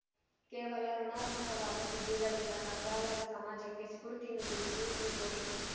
ಕೇವಲ ಋುಣಾತ್ಮಕವಾದ ಸುದ್ದಿಗಳಿಂದ ಕಂಗಾಲಾದ ಸಮಾಜಕ್ಕೆ ಸ್ಫೂರ್ತಿ ನೀಡಿದ್ದು ಈ ಗೋಷ್ಠಿ